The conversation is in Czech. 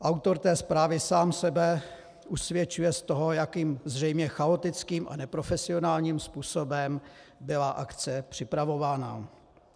Autor té zprávy sám sebe usvědčuje z toho, jakým, zřejmě chaotickým a neprofesionálním, způsobem byla akce připravována.